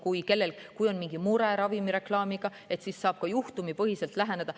Kui kellelgi on mingi mure ravimireklaamiga, siis saab ka juhtumipõhiselt läheneda.